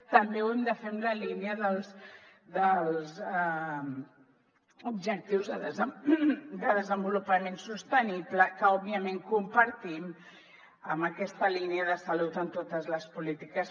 també ho hem de fer en la línia dels objectius de desenvolupament sostenible que òbviament compartim en aquesta línia de salut en totes les polítiques